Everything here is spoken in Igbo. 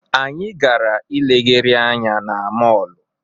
Anyị gara ilegharị anya na mọọlụ.